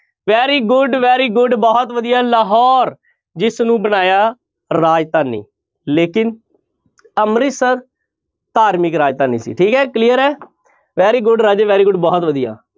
Very good, very good ਬਹੁਤ ਵਧੀਆ ਲਾਹੌਰ, ਜਿਸ ਨੂੰ ਬਣਾਇਆ ਰਾਜਧਾਨੀ ਲੇਕਿੰਨ ਅੰਮ੍ਰਿਤਸਰ ਧਾਰਮਿਕ ਰਾਜਧਾਨੀ ਸੀ ਠੀਕ ਹੈ clear ਹੈ very good ਰਾਜੇ very good ਬਹੁਤ ਵਧੀਆ